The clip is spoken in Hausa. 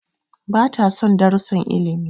Bata son darussan ilimi.